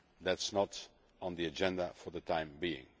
That is not on the agenda for the time being.